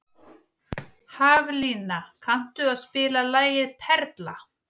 Haflína, kanntu að spila lagið „Perla“?